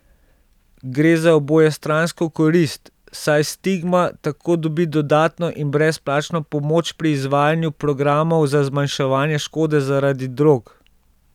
Gre za obojestransko korist, saj Stigma tako dobi dodatno in brezplačno pomoč pri izvajanju programov za zmanjševanje škode zaradi drog.